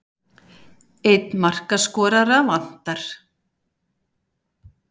Einn markaskorara vantar.